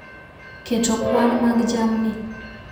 Keto kwan mag jamni